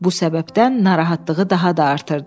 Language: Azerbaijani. Bu səbəbdən narahatlığı daha da artırdı.